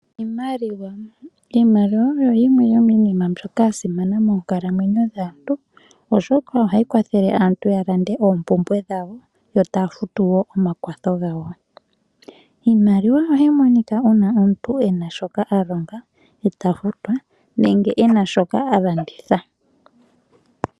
Iimaliwa, iimaliwa oyo yimwe yominima mbyoka ya simana moonkalamwenyo dhaantu oshoka ohayi kwathele aantu ya lande oompumbwe dhawo yo etaya futu omakwatho gawo. Iimaliwa ohayi monika uuna omuntu ena shoka a longa eta futwa nenge ena shoka a landitha.